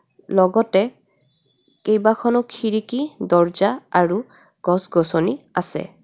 লগতে কেইবাখনো খিৰিকী দৰ্জা আৰু গছ গছনী আছে.